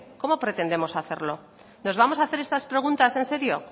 cómo pretendemos hacerlo nos vamos a hacer estas preguntas en serio